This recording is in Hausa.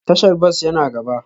Tashar bas yana gaba